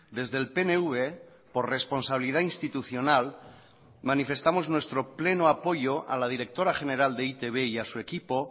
desde el pnv por responsabilidad institucional manifestamos nuestro pleno apoyo a la directora general de e i te be y a su equipo